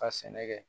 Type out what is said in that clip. Ka sɛnɛ kɛ